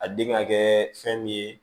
A den ka kɛ fɛn min ye